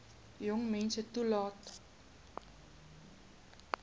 jong meisie toelaat